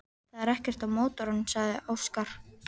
Það er ekkert að mótornum, sagði Óskar.